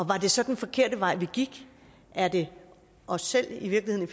var det så den forkerte vej vi gik er det os selv i virkeligheden